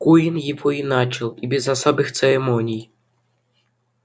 куинн его и начал и без особых церемоний